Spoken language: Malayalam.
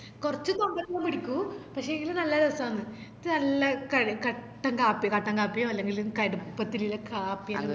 കൊർച് പിടിക്കും പക്ഷേങ്കില് നല്ല രസാന്ന് ന്നീറ്റ് നല്ല ക കട്ടൻ കാപ്പി കട്ടൻ കാപ്പിയോ അല്ലെങ്കില് കടുപ്പത്തില്ള്ള കാപ്പിയോ